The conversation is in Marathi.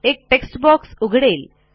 एक टेक्स्ट बॉक्स उघडेल